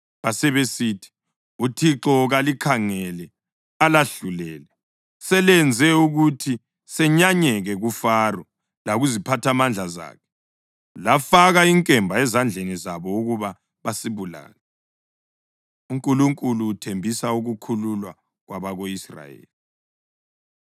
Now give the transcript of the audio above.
Basebesithi, “ uThixo kalikhangele alahlulele. Selenze ukuthi senyanyeke kuFaro lakuziphathamandla zakhe, lafaka inkemba ezandleni zabo ukuba basibulale.” UNkulunkulu Uthembisa Ukukhululwa Kwabako-Israyeli